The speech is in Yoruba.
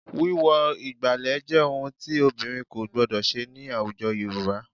Wíwọ ìgbàlẹ̀ jẹ́ ohun tí obìnrin kò gbọdọ̀ ṣe ní àwùjọ Yorùbá